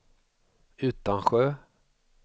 Utansjö